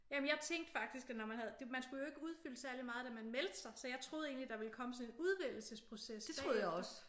Jamen jeg tænkte faktisk at når man havde man skulle kjo ikke udfylde særlig meget da man meldte sig så jeg troede egentlig at der ville komme en udvælgelsesprocess bagefter